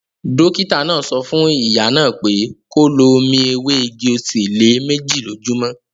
Dókítà náà sọ fún ìyá náà pé kó lo omi ewé igi-osè lé méjì lójúmọ́